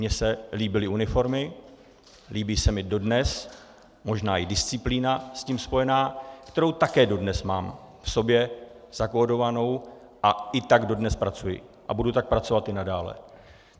Mně se líbily uniformy, líbí se mi dodnes, možná i disciplína s tím spojená, kterou také dodnes mám v sobě zakódovanou, a i tak dodnes pracuji a budu tak pracovat i nadále.